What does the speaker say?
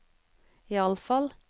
iallfall